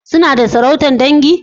Suna da sarautar dangi?